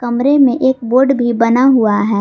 कमरे में एक बोर्ड भी बना हुआ है।